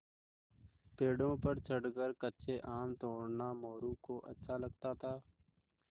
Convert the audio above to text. पेड़ों पर चढ़कर कच्चे आम तोड़ना मोरू को अच्छा लगता था